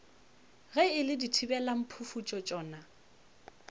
ge e le dithibelamphufutšo tšona